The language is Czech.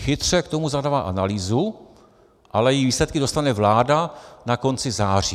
Chytře k tomu zadala analýzu, ale její výsledky dostane vláda na konci září.